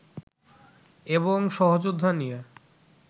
এবং সহযোদ্ধা নিয়ে